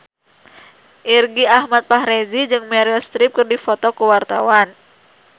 Irgi Ahmad Fahrezi jeung Meryl Streep keur dipoto ku wartawan